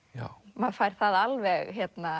maður fær það alveg